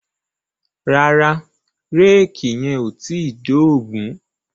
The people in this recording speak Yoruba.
Rárá, réèkì yẹn ò tíì dógùn-ún.